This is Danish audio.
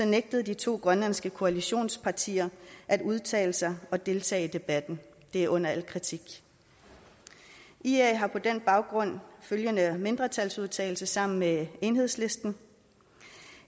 nægtede de to grønlandske koalitionspartier at udtale sig og deltage i debatten det er under al kritik ia har på den baggrund følgende mindretalsudtalelse sammen med enhedslisten